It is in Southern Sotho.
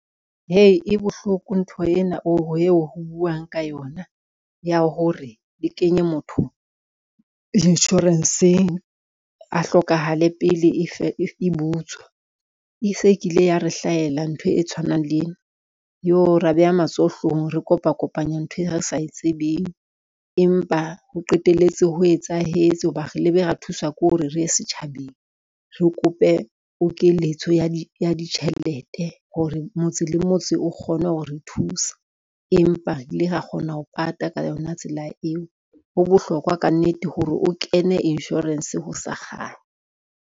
Hei e bohloko ntho ena ho buang ka yona ya hore, le kenye motho insurance-ng a hlokahale pele e butswa, e se e kile ya re hlahela ntho e tshwanang le ena. Yoh ra beha matsoho hloohong, re kopa kopanya ntho e re sa e tsebeng, empa ho qetelletse ho etsahetse ho ba re lebe ra thuswa ke hore re ye setjhabeng, re kope pokeletso ya di ditjhelete hore motse le motse o kgone ho re thusa, empa re ile ra kgona ho pata ka yona tsela eo, ho bohlokwa ka nnete hore o kene insurance ho sa kganya.